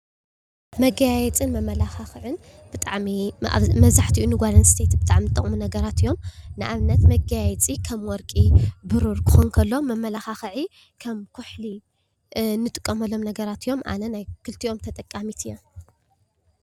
መጋየፂን መመለኻኽዕን ብጣዕሚ መብዛሕትኡ ንጓል ኣንስተይቲ ብጣዕሚ ዝጠቕሙ ነገራት እዩም። ንኣብነት መጋየፂ ከም ወርቂ፣ ብሩር ክኮን ከሎ መመለክዒ ከም ኩሕሊ እንጥቀመሎም ነገራት እዮም። ኣነ ናይ ክልቲኦም ተጠቃሚት እየ።